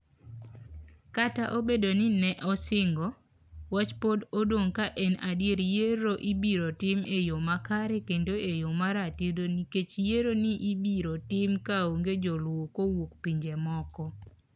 Kata obedo ni ne osingo, wach pod odong' ka en adier yiero ibiro tim e yo makare kendo e yo maratiro nikech yiero ni ibiro tim kaonge joluwo kowuok pinje moko.